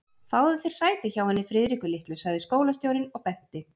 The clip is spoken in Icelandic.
Fáðu þér sæti hjá henni Friðriku litlu sagði skólastjórinn og benti